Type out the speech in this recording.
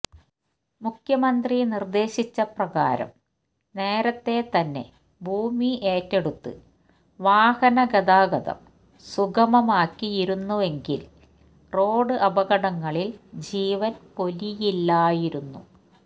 മുഖ്യമന്ത്രി നിര്ദേശിച്ച പ്രകാരം നേരത്തെ തന്നെ ഭൂമി ഏറ്റെടുത്ത് വാഹനഗതാഗതം സുഗമമാക്കി യിരുന്നുവെങ്കില് റോഡ് അപകടങ്ങളില് ജീവന് പൊലിയില്ലായിരുന്നു